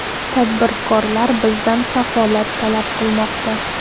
Tadbirkorlar bizdan kafolat talab qilmoqda.